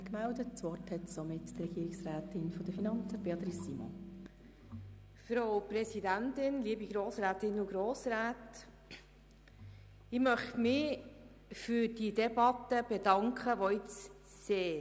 Ich möchte mich für diese Debatte bedanken, für eine Debatte, die sehr, sehr lange gedauert hat.